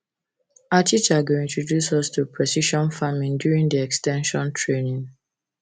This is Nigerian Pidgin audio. our teacher go introduce us to precision farming during the ex ten sion training